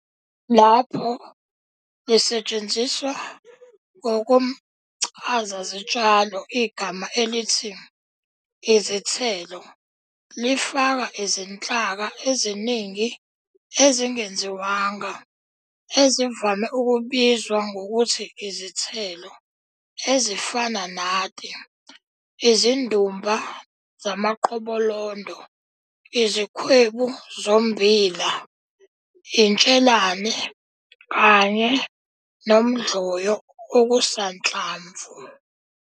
Lapho lisetshenziswa ngokomcazazitshalo igama elithi "izithelo" lifaka izinhlaka eziningi ezingenziwanga ezivame ukubizwa ngokuthi "izithelo", ezifana nati, izindumba zamaqobolondo, izikhwebu zombila, intshelane, kanye nomdloyo okusanhlamvu.